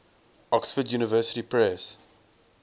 oxford university press